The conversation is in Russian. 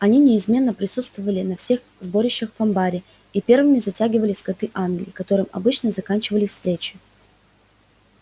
они неизменно присутствовали на всех сборищах в амбаре и первыми затягивали скоты англии которым обычно заканчивались встречи